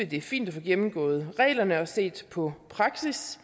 det er fint at få gennemgået reglerne og set på praksis